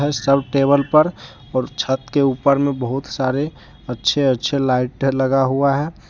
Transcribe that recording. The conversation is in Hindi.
सब टेबल पर और छत के ऊपर मे बहुत सारे अच्छे अच्छे लाइटें लगा हुआ है।